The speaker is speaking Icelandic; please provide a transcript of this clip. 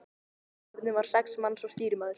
Áhöfnin var sex manns og stýrimaður.